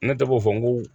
Ne tɔgɔ fɔ n ko